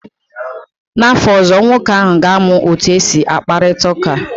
N'afọ ọzọ, nwoke ahụ ga-amụ otu esi akparịta ka